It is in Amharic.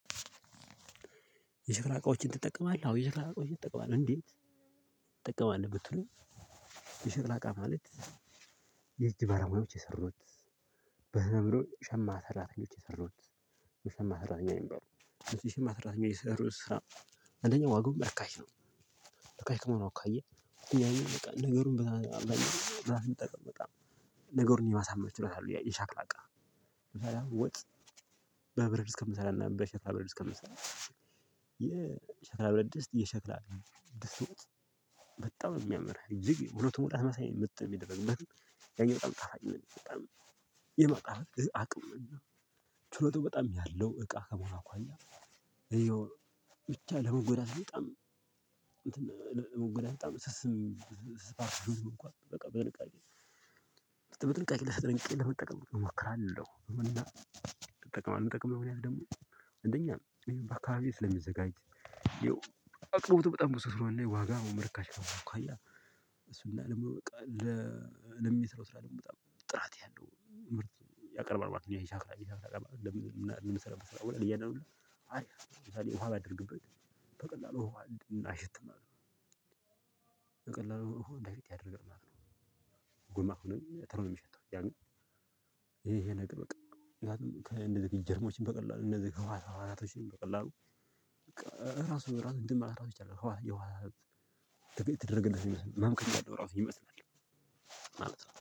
የሸክላ እቃዎችን ትጠቀማለህ አዎ የሸክላ እቃዎችን ትጠቀማለህ እንዴት ትጠቀማለህ ብትሉ? የሸክላ እቃ ማለት የእጅ ባለሙያዎች የሰሩት በህመምሎ ሸማ ሰራተኞች የሰሩት የሸማ ሰራተኛ ነው የሚባለው የሸማ ሰራተኛ የሰሩት ስራ አንደኛው ዋጓው ርካሽ ነው። ርካሽ ከመሆኑ አካያ ነገሩን በጣም ዛሬ እንጠቀመጣ። ነገሩን የማሳመር ችሎታ አለው የሸክላ እቃ። ወጥ በብረትድስት ከምሰራና በሸክላ ድስት ከምሰራ። የሸክላ ብረትድስት የሸክላ ደስተውት በጣም ነው የሚያምርህ እጅግ ሁሉ ተሞላ መሳይ ምት የሚደረግ ምን? ያኛው በጣም ጣፋጭ ምን የሚደረግ የማጣፈጥ አቅም ነው። ችሎታው በጣም ያለው እቃ ከመሆኑ አኳያ ይሄው ብቻ ለመጎዳት በጣም። መግደህ በጣም ስስም ስስም እንኳን በቃ በጥንቃቄ በጥንቃቄ ለሰጥንቄ ለመጠቀም እሞክራለሁ። እና እንጠቅማለን እንጠቅማለን ያዝ ደግሞ እንደኛ ነው እኔ በአካባቢ ስለሚዘጋጅ። አቅርቦት በጣም ብዙ ስለሆነ ነው ዋጋ መርካሽ ነው። እሱን አለመው በቃ ለሚሰራው ስራ ደሞ በጣም ጥራት ያለው ምርጥ ያቀርባል ማለት ነው። እኛ ይቻላል ይቻላል ለምን ሰላም ስላወራ እያለ ነው ያለው። ለምሳሌ ውሃ ባደርግበት በቀላሉ ውሃ እናይሽት ማለት ነው ማለት ነው። የቀላሉ እኮ እንደዚህ ያደርግም ማለት ነው። ጉማ ሆኖ ተርም የሚሸተው ያ። ያኔ ይሄ ነገር በቃ ከእንደዚህ ጀርሞችን በቀላሉ እንደዚህ ከህወሃት ህወሃቶችን በቀላሉ። በቃ ራሱ ራሱ እንደማለት ራሱ ይቻላል። ተደረገልኝ መምከት አለው ራሱ ይመስላል። ማለት ነው